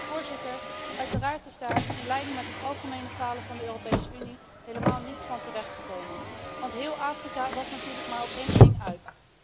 Maar, voorzitter, uiteraard is daarvan, in lijn met het algemeen falen van de Europese Unie, helemaal niets terechtgekomen. Want heel Afrika was natuurlijk maar op één ding uit.